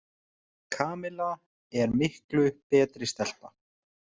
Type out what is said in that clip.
Kamilla er miklu betri stelpa.